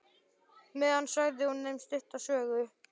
meðan sagði hún þeim stutta sögu.